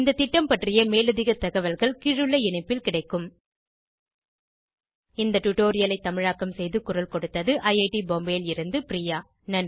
இந்த திட்டம் பற்றிய மேலதிக தகவல்கள் கீழுள்ள இணைப்பில் கிடைக்கும் httpspoken tutorialorgNMEICT Intro இந்த டுடோரியலை தமிழாக்கம் செய்து குரல் கொடுத்தது ஐஐடி பாம்பேவில் இருந்து பிரியா